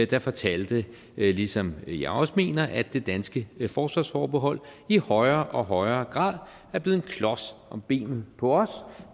der fortalte ligesom jeg også mener at det danske forsvarsforbehold i højere og højere grad er blevet en klods om benet på os